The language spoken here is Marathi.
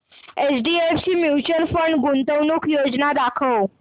एचडीएफसी म्यूचुअल फंड गुंतवणूक योजना दाखव